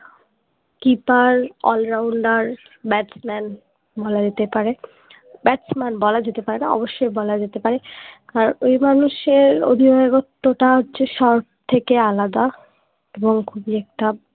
keeper allrounder batsman বলা যেতে পারে ব্যাটসম্যান বলা যেতে পারে না অবসসই বলা যেতে পারে আর ওই মানুষ এর অধিনায়কত্ব তা হচ্ছে সব থেকে আলাদা এবং খুবই একটা